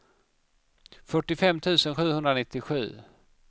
fyrtiofem tusen sjuhundranittiosju